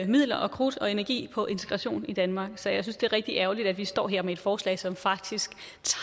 midler og krudt og energi på integration i danmark så jeg synes det er rigtig ærgerligt at vi står her med et forslag som faktisk